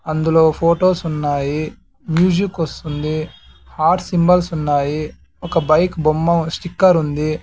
అందులో ఫోటోస్ ఉన్నాయి మ్యూజిక్ వస్తుంది హార్ట్ సింబల్స్ ఉన్నాయి ఒక బైక్ బొమ్మ స్టిక్కర్ ఉంది.